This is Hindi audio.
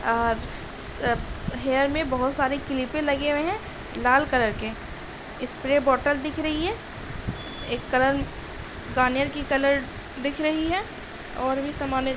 आर सब हे में बहुत सारे क्लीपे लगे हुए है लाल कलर के | स्प्रे बॉटल दिख रही है एक कलर गार्नियर की कलर दिख रही है और भी समाने--